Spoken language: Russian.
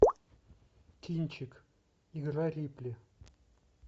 кинчик игра рипли